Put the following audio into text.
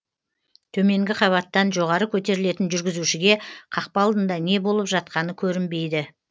төменгі қабаттан жоғары көтерілетін жүргізушіге қақпа алдында не болып жатқаны көрінбейді